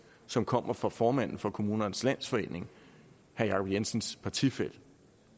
som kommer fra formanden for kommunernes landsforening herre jacob jensens partifælle